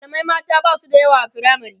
mallamai mata Basu da yawa a firamare